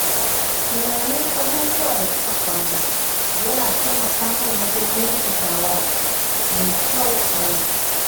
Tunanin abubuwan da suka faru yana taimaka min wajen yanke shawara mafi kyau a yau.